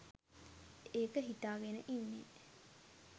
ඒක හිතාගෙන ඉන්නේ